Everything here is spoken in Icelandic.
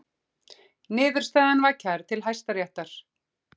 Niðurstaðan var kærð til Hæstaréttar